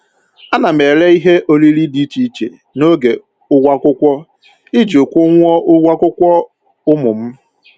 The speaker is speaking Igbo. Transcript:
Ana m ere ihe oriri dị iche iche n'oge ụgwọ akwụkwọ iji kwụnwuo ụgwọ akwụkwọ ụmụ m